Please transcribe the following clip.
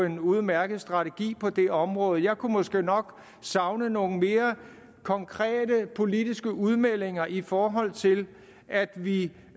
en udmærket strategi på det område jeg kunne måske nok savne nogle mere konkrete politiske udmeldinger i forhold til at vi